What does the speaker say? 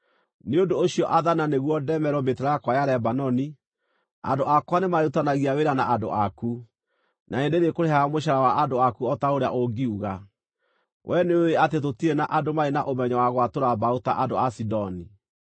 “Nĩ ũndũ ũcio athana nĩguo ndemerwo mĩtarakwa ya Lebanoni. Andũ akwa nĩmarĩrutithanagia wĩra na andũ aku, na nĩndĩrĩkũrĩhaga mũcaara wa andũ aku o ta ũrĩa ũngiuga. Wee nĩũũĩ atĩ tũtirĩ na andũ marĩ na ũmenyo wa gwatũra mbaũ ta andũ a Sidoni.”